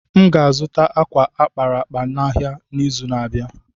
M ga-azụta ákwà a kpara akpa n’ahịa n’izu na-abịa.